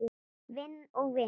Vinn og vinn?